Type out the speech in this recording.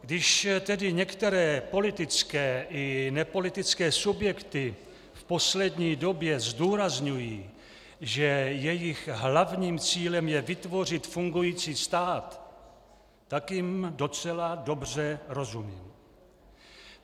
Když tedy některé politické i nepolitické subjekty v poslední době zdůrazňují, že jejich hlavním cílem je vytvořit fungující stát, tak jim docela dobře rozumím.